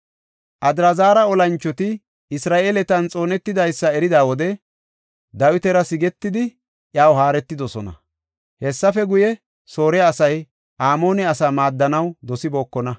Adraazara olanchoti Isra7eeletan xoonetidaysa erida wode Dawitara sigetidi, iyaw haaretidosona. Hessafe guye, Soore asay Amoone asaa maaddanaw dosibookona.